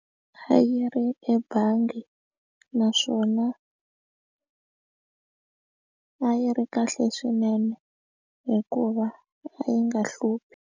A yi ri ebangi naswona a yi ri kahle swinene hikuva a yi nga hluphi.